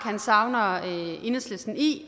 savner enhedslisten i